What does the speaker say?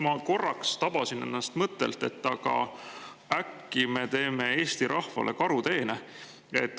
Ma korraks tabasin ennast mõttelt, et aga äkki me teeme Eesti rahvale karuteene.